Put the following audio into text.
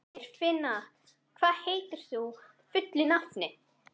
Geirfinna, hvað heitir þú fullu nafni?